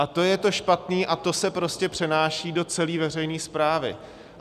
A to je to špatné a to se prostě přenáší do celé veřejné správy.